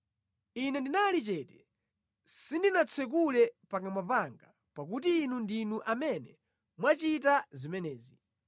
Ine ndinali chete; sindinatsekule pakamwa panga pakuti Inu ndinu amene mwachita zimenezi.